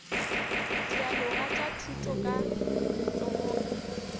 dialoga tša thuto ka letsogong